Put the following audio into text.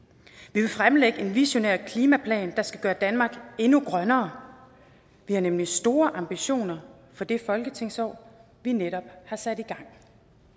vi vil fremlægge en visionær klimaplan der skal gøre danmark endnu grønnere vi har nemlig store ambitioner for det folketingsår vi netop har sat i gang